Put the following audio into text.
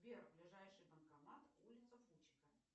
сбер ближайший банкомат улица фучика